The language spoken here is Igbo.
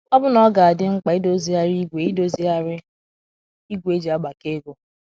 Ọbụna ọ ga - adị mkpa idozigharị ígwè idozigharị ígwè e ji agbakọ ego.